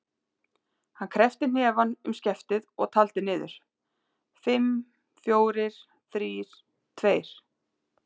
Hann kreppti hnefann um skeftið og taldi niður: fimm, fjórir, þrír, tveir.